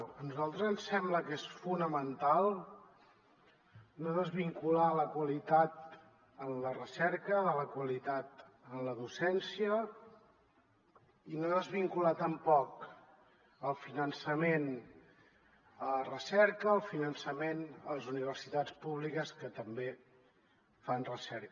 a nosaltres ens sembla que és fonamental no desvincular la qualitat en la recerca de la qualitat en la docència i no desvincular tampoc el finançament a la recerca del finançament a les universitats públiques que també fan recerca